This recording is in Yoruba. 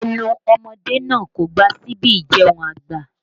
Ẹnu ọmọdé náà kò gba síbi ìjẹun àgbà